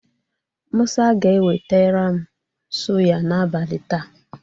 Mụsa ga-eweterem suya n'abalị taa.